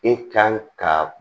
E kan ka